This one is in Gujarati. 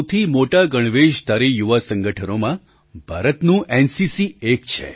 દુનિયાના સૌથી મોટા ગણવેશધારી યુવા સંગઠનોમાં ભારતનું એનસીસી એક છે